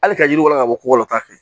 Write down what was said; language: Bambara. Hali ka yiriw walawa ka bɔ ko latɛ